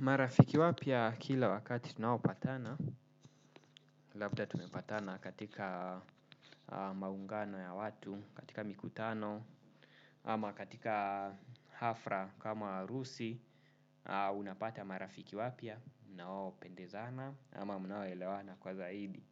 Marafiki wapya kila wakati tunaopatana labda tumepatana katika maungano ya watu, katika mikutano, ama katika hafla kama harusi, unapata marafiki wapya mnaopendezana ama mnaoelewana kwa zaidi.